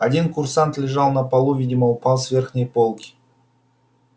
один курсант лежал на полу видимо упал с верхней полки